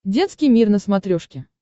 детский мир на смотрешке